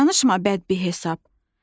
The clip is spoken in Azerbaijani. Danışma bəd bir hesab.